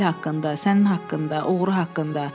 Emil haqqında, sənin haqqında, oğuru haqqında.